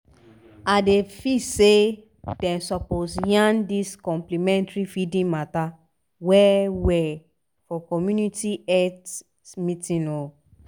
idey feel say dem suppose yarn dis complementary feeding mata well-well for community health meetings o